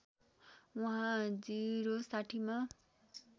उहाँ ०६० मा